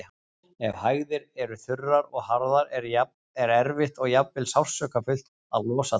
Ef hægðir eru þurrar og harðar er erfitt og jafnvel sársaukafullt að losa þær.